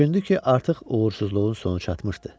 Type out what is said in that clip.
Düşündü ki, artıq uğursuzluğun sonu çatmışdı.